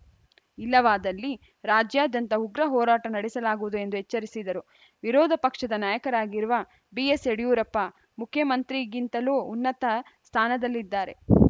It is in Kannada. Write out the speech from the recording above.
ಇಲ್ಲವಾದಲ್ಲಿ ರಾಜ್ಯಾದ್ಯಂತ ಉಗ್ರ ಹೋರಾಟ ನಡೆಸಲಾಗುವುದು ಎಂದು ಎಚ್ಚರಿಸಿದರು ವಿರೋಧ ಪಕ್ಷದ ನಾಯಕರಾಗಿರುವ ಬಿಎಸ್‌ಯಡಿಯೂರಪ್ಪ ಮುಖ್ಯಮಂತ್ರಿಗಿಂತಲೂ ಉನ್ನತ ಸ್ಥಾನದಲ್ಲಿದ್ದಾರೆ